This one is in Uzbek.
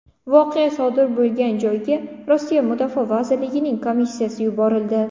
Voqea sodir bo‘lgan joyga Rossiya Mudofaa vazirligining komissiyasi yuborildi.